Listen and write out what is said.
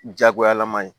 Jagoyalama ye